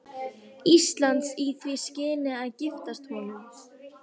Íslands í því skyni að giftast honum.